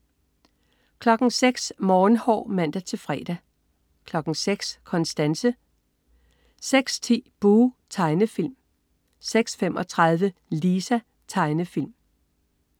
06.00 Morgenhår (man-fre) 06.00 Konstanse (man-fre) 06.10 Buh! Tegnefilm (man-fre) 06.35 Lisa. Tegnefilm (man-fre)